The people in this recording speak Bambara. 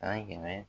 San kɛmɛ